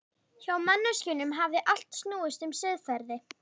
Hjá manneskjunum hafði allt snúist um siðferði.